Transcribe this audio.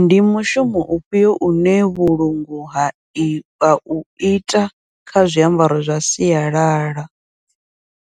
Ndi mushumo ufhio une vhulungu ha i ha uita kha zwiambaro zwa sialala,